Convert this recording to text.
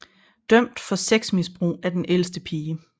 Dømt for sexmisbrug af den ældste pige